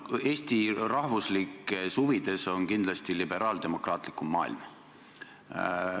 Eesti rahvuslikes huvides on kindlasti liberaaldemokraatlikum maailm.